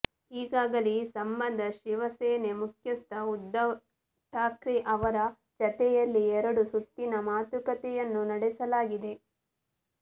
ಈಗಾಗಲೇ ಈ ಸಂಬಂಧ ಶಿವಸೇನೆ ಮುಖ್ಯಸ್ಥ ಉದ್ಧವ್ ಠಾಕ್ರೆ ಅವರ ಜತೆಯಲ್ಲಿ ಎರಡು ಸುತ್ತಿನ ಮಾತುಕತೆಯನ್ನೂ ನಡೆಸಲಾಗಿದೆ